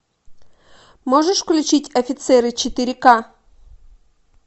можешь включить офицеры четыре ка